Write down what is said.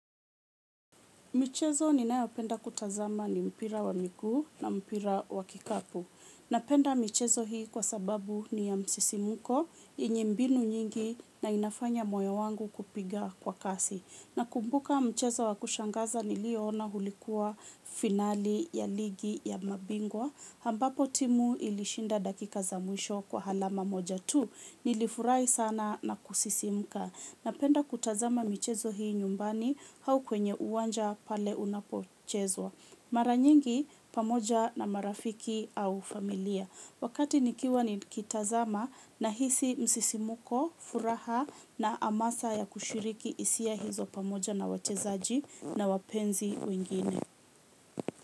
Michezo ninayopenda kutazama ni mpira wa miguu na mpira wa kikapu. Napenda michezo hii kwa sababu ni ya msisimuko, yenye mbinu nyingi na inafanya moyo wangu kupiga kwa kasi. Nakumbuka mchezo wa kushangaza niliyoona ulikuwa finali ya ligi ya mabingwa. Ambapo timu ilishinda dakika za mwisho kwa alama moja tu, nilifurahi sana na kusisimuka. Napenda kutazama michezo hii nyumbani au kwenye uwanja pale unapochezwa. Mara nyingi pamoja na marafiki au familia. Wakati nikiwa nikitazama nahisi msisimuko, furaha na hamasa ya kushiriki hisia hizo pamoja na wachezaji na wapenzi wengine.